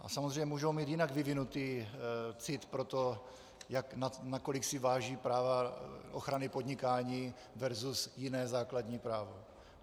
A samozřejmě můžou mít jinak vyvinutý cit pro to, nakolik si váží práva ochrany podnikání versus jiné základní právo.